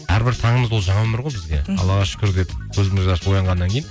әрбір таңымыз ол жаңа өмір ғой бізге мхм аллаға шүкір деп көзімізді ашып оянғаннан кейін